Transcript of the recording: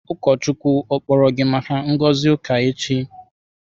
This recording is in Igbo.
Ụkọchukwu kpọrọ gị maka ngozi uka echi?